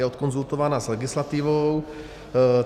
Je odkonzultována s legislativou.